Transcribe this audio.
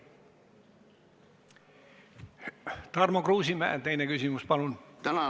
Tarmo Kruusimäe, teine küsimus, palun!